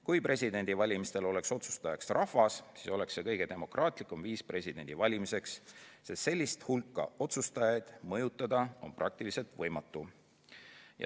Kui presidendivalimistel oleks otsustajaks rahvas, siis oleks see kõige demokraatlikum viis presidendi valimiseks, sest sellist hulka otsustajaid mõjutada on praktiliselt võimatu.